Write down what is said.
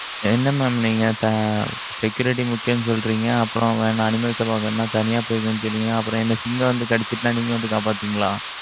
என்ன mam நீங்க security முக்கியம்ன்னு சொல்றீங்க, அப்புறம் வேணா, animals எல்லாம், பாக்கணும்னா தனியா போய்க்கோன்னு சொன்னீங்க. அப்புறம் என்ன, சிங்கம் வந்து கடிச்சிட்டா, நீங்க வந்து காப்பாத்துவீங்களா?